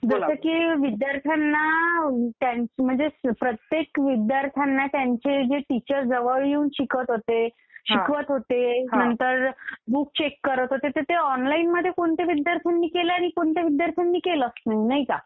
जसं की विद्यार्थ्यांना म्हणजे प्रत्येक विद्यार्थ्यांना त्यांचे जे टीचर जवळ येऊन शिकवत होते शिकवत होते नंतर बुक चेक करत होते तर ते ऑनलाईन मध्ये कोणत्या विद्यार्थयांनी केलं आणि कुणी नाही हे कळणार नाही का